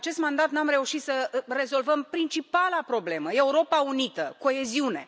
În acest mandat nu am reușit să rezolvăm principala problemă Europa Unită, coeziune.